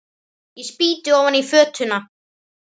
Ég spýti ofan í fötuna.